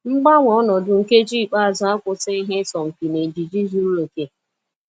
Mgbanwe ọnọdụ nkeji ikpeazụ akwụsịghị ha ịsọ mpi n'ejiji zuru oke.